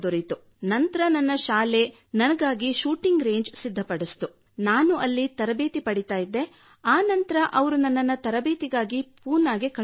ನಂತರ ನನ್ನ ಶಾಲೆ ನನಗಾಗಿ ಶೂಟಿಂಗ್ ರೇಜ್ ಸಿದ್ಧಪಡಿಸಿತು ನಾನು ಅಲ್ಲಿ ತರಬೇತಿ ಪಡೆಯುತ್ತಿದ್ದೆ ಮತ್ತು ಆ ನಂತರ ಅವರು ನನ್ನನ್ನು ತರಬೇತಿಗಾಗಿ ಪೂನಾಗೆ ಕಳುಹಿಸಿದರು